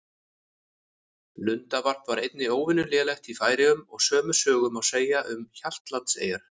Lundavarp var einnig óvenju lélegt í Færeyjum og sömu sögu má segja um Hjaltlandseyjar.